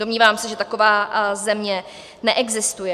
Domnívám se, že taková země neexistuje.